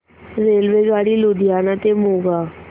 रेल्वेगाडी लुधियाना ते मोगा